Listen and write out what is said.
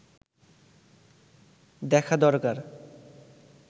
দেখা দরকার